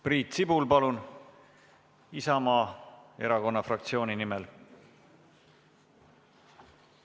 Priit Sibul Isamaa erakonna fraktsiooni nimel, palun!